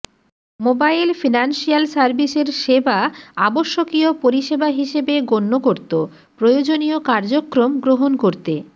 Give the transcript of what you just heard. mobile financial সার্ভিসের সেবা আবশ্যকীয় পরিসেবা হিসেবে গণ্য করতঃ প্রয়োজনীয় কার্যক্রম গ্রহণ করতে